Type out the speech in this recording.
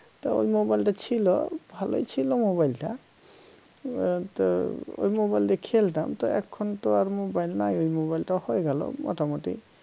তা mobile টা ছিল ভালোই ছিল mobile টা আহ তো ঐ mobile টায় খেলতাম তা এখনতো আর mobile নাই mobile টা হয়ে গেল মোটামুটি